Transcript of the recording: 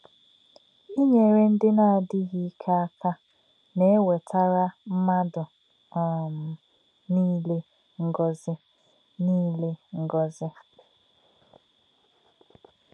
Ínyèrè̄ ndí̄ nā̄-ádí̄ghí̄ íkè̄ ákà̄ nā̄-èwètà̄rá̄ mmádụ̄ um nílé̄ ngọ̀zí̄. nílé̄ ngọ̀zí̄.